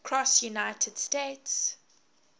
cross united states